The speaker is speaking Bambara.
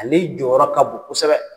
A ni jɔyɔrɔ ka bon kosɛbɛ.